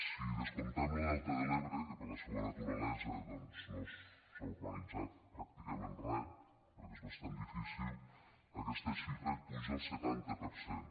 si descomptem lo delta de l’ebre que per la seua naturalesa doncs no s’hi ha urbanitzat pràcticament re perquè és bastant difícil aquesta xifra puja al setanta per cent